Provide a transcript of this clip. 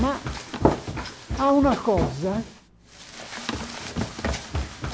Ma há una coisa.